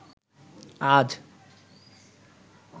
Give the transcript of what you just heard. আজ